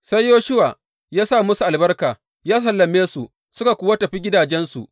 Sai Yoshuwa ya sa musu albarka, ya sallame su, suka kuwa tafi gidajensu.